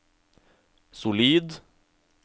solid